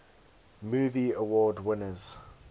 movie award winners